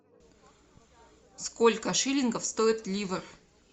сколько шиллингов стоит ливр